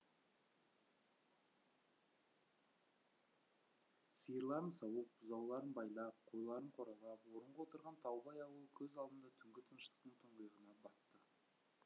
сиырларын сауып бұзауларын байлап қойларын қоралап орынға отырған таубай ауылы көз алдында түнгі тыныштықтың тұңғиығына батты